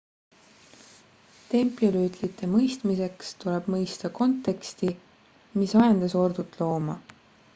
templirüütlite mõistmiseks tuleb mõista konteksti mis ajendas ordut looma